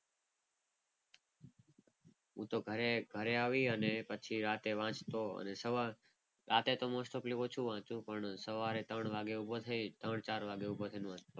હું તો ઘરે ઘરે આવીને પછી રાત્રે વાંચતો. અને સવારે રાતે તો મોસ્ટ ઓફલી ઓછું વાંચુ. પણ સવારે ત્રણ વાગે ઉભો થઈ ત્રણ ચાર વાગે ઉભો થઈને વાંચુ.